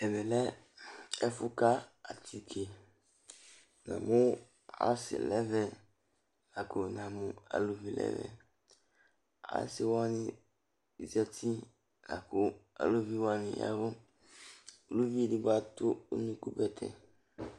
Ɛvɛ lɛ ɛfʋka atike Namʋ asɩ nʋ ɛvɛ la kʋ namʋ aluvi nʋ ɛvɛ Asɩ wanɩ zati la kʋ aluvi wanɩ ya ɛvʋ Uluvi edigbo atʋ unukubɛtɛ